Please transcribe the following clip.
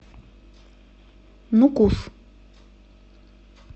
нукус